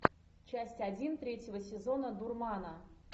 часть один третьего сезона дурмана